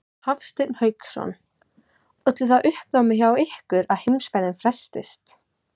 Hafsteinn Hauksson: Olli það uppnámi hjá ykkur að heimferðin frestaðist?